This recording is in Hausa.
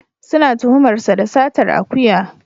Suna tuhumar sa da satar akuya.